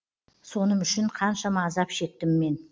соным үшін қаншама азап шектім мен